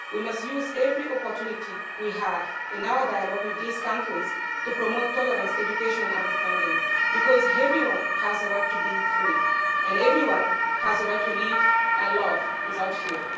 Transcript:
We must use every opportunity we have in our dialogue with these countries to promote tolerance, education and understanding, because everyone has a right to be free and everyone has a right to live and love without fear.